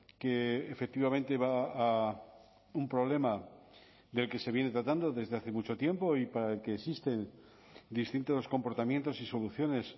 que efectivamente va a un problema del que se viene tratando desde hace mucho tiempo y para el que existen distintos comportamientos y soluciones